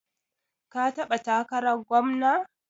Ka taɓa takarar gwamna?